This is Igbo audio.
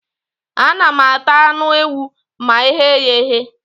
Ana m ata anụ ewu ma eghe ya eghe